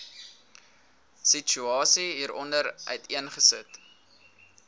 situasie hieronder uiteengesit